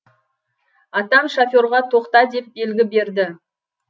атам шоферға тоқта деп белгі берді